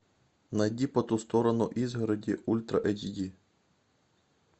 найди по ту сторону изгороди ультра эйч ди